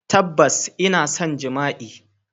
Tabbas ina son jami'a.